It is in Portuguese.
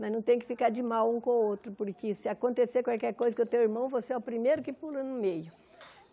Mas não tem que ficar de mal um com o outro, porque se acontecer qualquer coisa com o teu irmão, você é o primeiro que pula no meio.